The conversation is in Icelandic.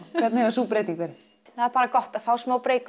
hvernig hefur sú breyting verið það er bara gott að fá smá